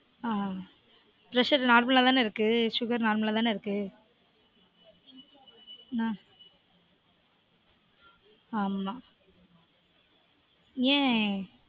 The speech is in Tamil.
ஆஹ் pressure normal -ஆ தான இருக்கு? sugar normal -ஆ தான இருக்கு? அஹ் ஆம்மா. ஏன்?